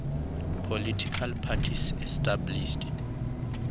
political parties established